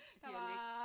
Dialekt